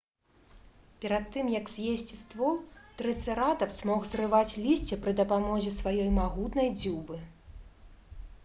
перад тым як з'есці ствол трыцэратапс мог зрываць лісце пры дапамозе сваёй магутнай дзюбы